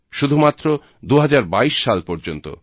শুধুমাত্র 2022 সাল পর্যন্ত